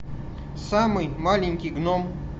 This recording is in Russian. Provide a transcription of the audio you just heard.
самый маленький гном